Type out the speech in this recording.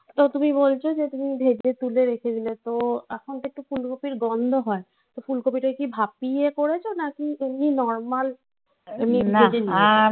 তো তুমি বলছো যে তুমি ভেজে তুলে রেখে দিলে. তো এখন তো একটু ফুলকপির গন্ধ হয়. তো ফুলকপি টাকে কি ভাপিয়ে করেছো? নাকি এমনি normal?